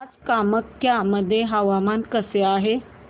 आज कामाख्या मध्ये हवामान कसे आहे